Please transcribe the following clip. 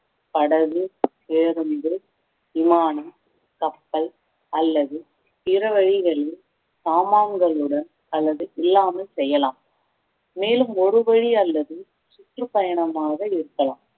படகு பேருந்து விமானம் கப்பல் அல்லது பிற வழிகளில் சாமான்களுடன் அல்லது இல்லாமல் செய்யலாம் மேலும் ஒரு வழி அல்லது சுற்றுப்பயணமாக இருக்கலாம்